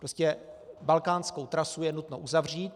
Prostě balkánskou trasu je nutno uzavřít.